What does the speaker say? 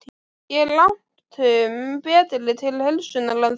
Ég er langtum betri til heilsunnar en þú.